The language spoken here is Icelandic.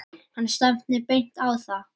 Hann stefndi beint á þá.